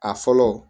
A fɔlɔ